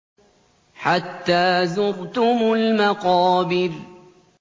حَتَّىٰ زُرْتُمُ الْمَقَابِرَ